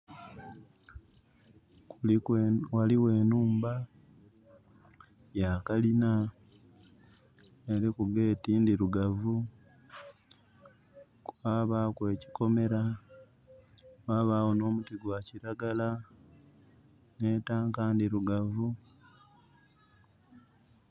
Ghaligho enhumba ya kalina, eliku gate ndhirugavu, kwabaaku ekyikomera, ghabagho n'omuti gwa kiragala, nhi tank ndhirugavu.